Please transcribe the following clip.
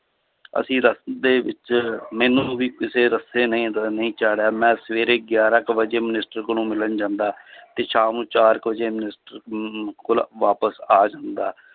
ਅਸੀਂ ਦੇ ਵਿੱਚ ਮੈਨੂੰ ਵੀ ਕਿਸੇ ਰਸਤੇ ਨਹੀਂ ਰ~ ਨਹੀਂ ਚਾੜਿਆ ਮੈਂ ਸਵੇਰੇ ਗਿਆਰਾਂ ਕੁ ਵਜੇ minister ਕੋਲੋਂ ਮਿਲਣ ਜਾਂਦਾ ਤੇ ਸ਼ਾਮ ਨੂੰ ਚਾਰ ਕੁ ਵਜੇ ਮਨਿਸਟਰ ਅਮ ਕੋਲ ਵਾਪਸ ਆ ਜਾਂਦਾ